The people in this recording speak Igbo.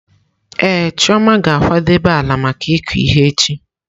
Ee, Chioma ga-akwadebe ala maka ịkụ ihe echi.